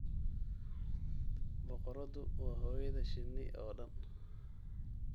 Boqoradu waa hooyada shinni oo dhan.